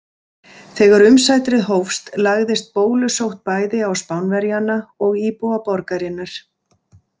Þegar umsátrið hófst lagðist bólusótt bæði á Spánverjana og íbúa borgarinnar.